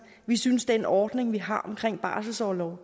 vi synes at den ordning vi har omkring barselsorlov